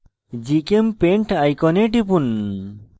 gchempaint icon টিপুন